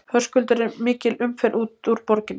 Höskuldur er mikil umferð út úr borginni?